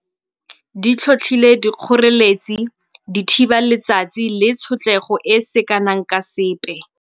Di tlhotlhile dikgoreletsi di thiba letsatsi le tshotlego e e seng kana ka sepe.